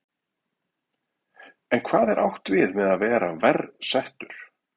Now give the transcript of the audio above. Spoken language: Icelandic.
En hvað er átt við með að vera verr settur?